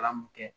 Kalan mun kɛ